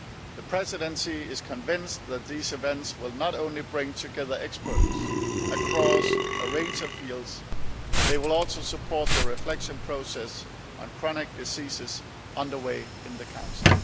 it. The Presidency is convinced that these events will not only bring together experts across a range of fields, they will also support the reflection process on chronic diseases underway in the Council.